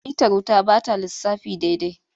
Mitar wuta ba ta lissafi daidai.